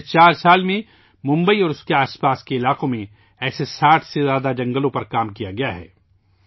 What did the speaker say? گزشتہ چار برسوں میں ممبئی اور اس کے آس پاس کے علاقوں میں ایسے 60 سے زیادہ جنگلوں پر کام کیا گیا ہے